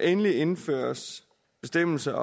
endelig indføjes bestemmelser